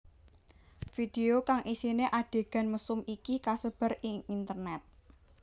Video kang isiné adhegan mesum iki kasebar ing internét